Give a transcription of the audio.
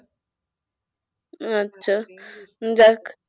যাক।